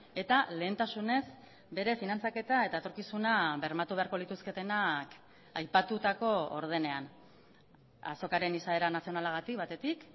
eta lehentasunez bere finantzaketa eta etorkizuna bermatu beharko lituzketenak aipatutako ordenean azokaren izaera nazionalagatik batetik